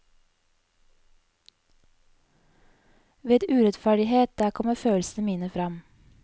Ved urettferdighet, der kommer følelsene mine fram.